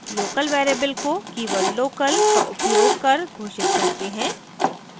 local variables को keyword local का उपयोग कर घोषित करते हैं